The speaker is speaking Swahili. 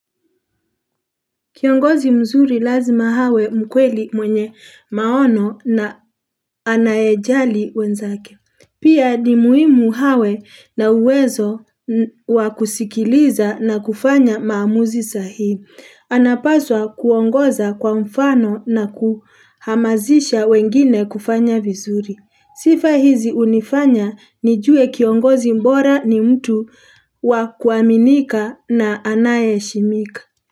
Kiongozi mzuri lazima hawe mkweli mwenye maono na anayejali wenzake. Pia ni muhimu hawe na uwezo wakusikiliza na kufanya maamuzi sahihi. Anapaswa kuongoza kwa mfano na kuhamazisha wengine kufanya vizuri. Sifa hizi hunifanya nijue kiongozi bora ni mtu wakuaminika na anaeshimika.